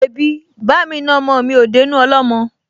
Mebí bá'mi na ọmọ mi á dénú ọlọ́mọ?